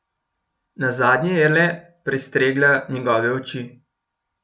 Nazadnje je le prestregla njegove oči.